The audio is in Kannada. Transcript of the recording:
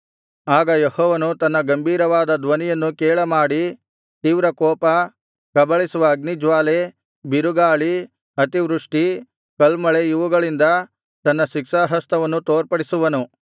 ಆಗ ಯೆಹೋವನು ತನ್ನ ಗಂಭೀರವಾದ ಧ್ವನಿಯನ್ನು ಕೇಳಮಾಡಿ ತೀವ್ರಕೋಪ ಕಬಳಿಸುವ ಅಗ್ನಿಜ್ವಾಲೆ ಬಿರುಗಾಳಿ ಅತಿವೃಷ್ಟಿ ಕಲ್ಮಳೆ ಇವುಗಳಿಂದ ತನ್ನ ಶಿಕ್ಷಾಹಸ್ತವನ್ನು ತೋರ್ಪಡಿಸುವನು